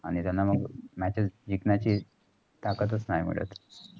आणि त्याना मग matches जिंकण्याची ताकत चा नाही मिळत.